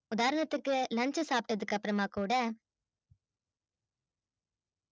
வேற ஒருத்தர்க்கு lunch சாப்பிட்டதற்கு அப்புறமா கூட